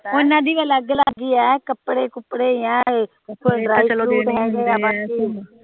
ਓਹਨਾ ਦੀ ਵੀ ਅਲਗ ਅਲਗ ਹੀ ਏ ਕੱਪੜੇ ਕੁਪੜੇ